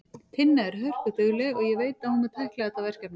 Tinna er hörkudugleg og ég veit að hún mun tækla þetta verkefni.